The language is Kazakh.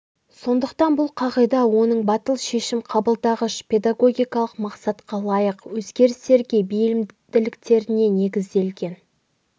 сондықтан бұл қағида оның батыл шешім қабылдағыш педагогикалық мақсатқа лайық өзгерістерге бейімділіктеріне негізделген